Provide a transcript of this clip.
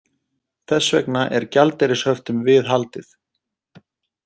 Þess vegna er gjaldeyrishöftum viðhaldið